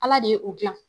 Ala de ye o dilan